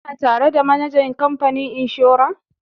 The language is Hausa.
Kana tare da manajan kamfanin inshora?